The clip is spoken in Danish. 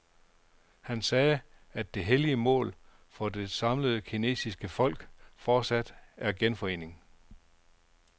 Han sagde, at det hellige mål for det samlede kinesiske folk fortsat er genforening.